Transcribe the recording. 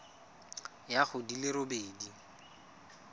ya go di le robedi